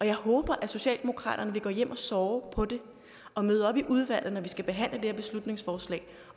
jeg håber at socialdemokraterne vil gå hjem og sove på det og møde op i udvalget når vi skal behandle det her beslutningsforslag